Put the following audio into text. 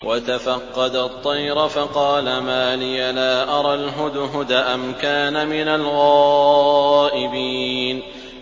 وَتَفَقَّدَ الطَّيْرَ فَقَالَ مَا لِيَ لَا أَرَى الْهُدْهُدَ أَمْ كَانَ مِنَ الْغَائِبِينَ